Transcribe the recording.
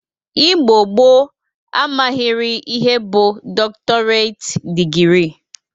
Igbo gboo amaghịrị ihe bụ dọktọreit dịgrị